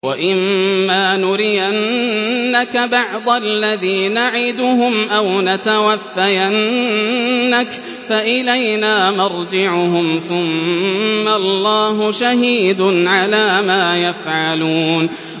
وَإِمَّا نُرِيَنَّكَ بَعْضَ الَّذِي نَعِدُهُمْ أَوْ نَتَوَفَّيَنَّكَ فَإِلَيْنَا مَرْجِعُهُمْ ثُمَّ اللَّهُ شَهِيدٌ عَلَىٰ مَا يَفْعَلُونَ